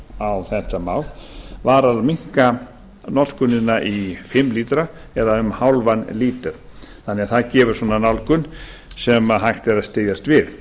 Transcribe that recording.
á þetta mál var að minnka notkunina í fimm lítra eða um hálfan lítra þannig að það gefur svona nálgun sem hægt er að styðjast við